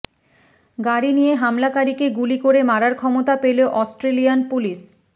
গাড়ি নিয়ে হামলাকারীকে গুলি করে মারার ক্ষমতা পেল অস্ট্রেলিয়ান পুলিশ